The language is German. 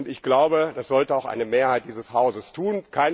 Ich glaube, das sollte auch eine Mehrheit dieses Hauses tun.